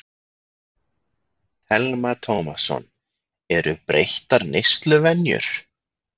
Telma Tómasson: Eru breyttar neysluvenjur?